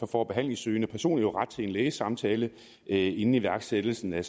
får behandlingssøgende personer jo ret til en lægesamtale inden igangsættelsen af